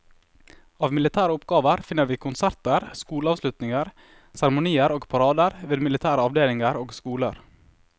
Av militære oppgaver finner vi konserter, skoleavslutninger, seremonier og parader ved militære avdelinger og skoler.